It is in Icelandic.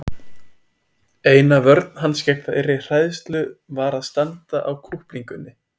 Eina vörn hans gegn þeirri hræðslu var að standa á kúplingunni.